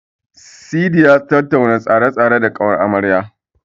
Sadi ya tattauna tsare-tsaren da ƙawar amaryar.